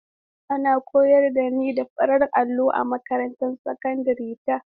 An koyar da ni da farin allo a makarantar sakandare ta.